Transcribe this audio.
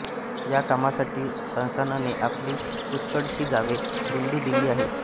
या कामासाठीं संस्थाननें आपली पुष्कळशीं गांवें बुडूं दिलीं आहेत